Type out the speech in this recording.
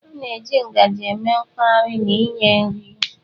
A na-eji ngaji eme mkpahari na inye nri.